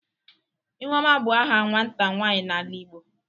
Ihuoma bu aha nwata nwanyi n'ala Igbo.